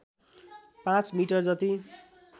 पाँच मिटर जति